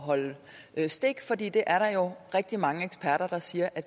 holde stik for det er der jo rigtig mange eksperter der siger at